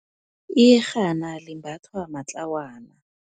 Iyerhana limbathwa matlawana.